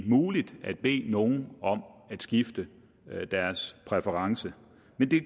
muligt at bede nogle om at skifte deres præference men det